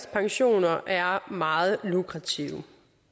pensioner er meget lukrative